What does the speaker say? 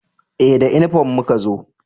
Eh da inifom muka zo